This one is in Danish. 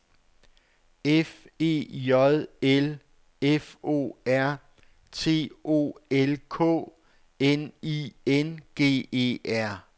F E J L F O R T O L K N I N G E R